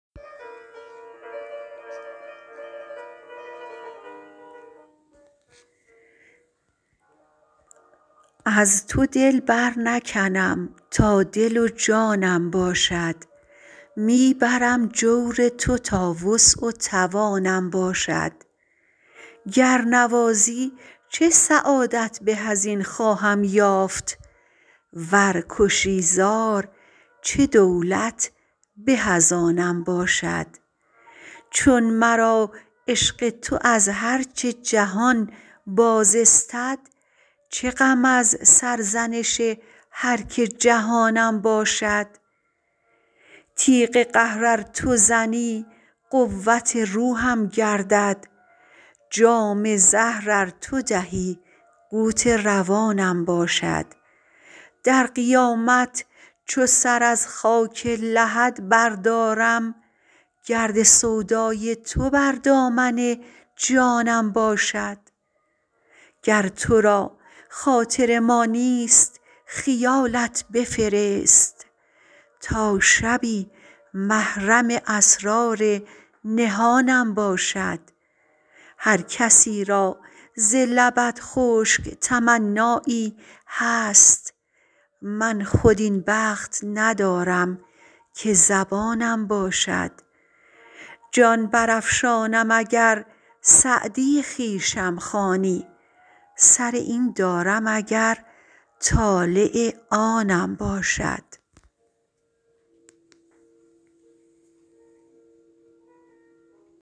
از تو دل برنکنم تا دل و جانم باشد می برم جور تو تا وسع و توانم باشد گر نوازی چه سعادت به از این خواهم یافت ور کشی زار چه دولت به از آنم باشد چون مرا عشق تو از هر چه جهان باز استد چه غم از سرزنش هر که جهانم باشد تیغ قهر ار تو زنی قوت روحم گردد جام زهر ار تو دهی قوت روانم باشد در قیامت چو سر از خاک لحد بردارم گرد سودای تو بر دامن جانم باشد گر تو را خاطر ما نیست خیالت بفرست تا شبی محرم اسرار نهانم باشد هر کسی را ز لبت خشک تمنایی هست من خود این بخت ندارم که زبانم باشد جان برافشانم اگر سعدی خویشم خوانی سر این دارم اگر طالع آنم باشد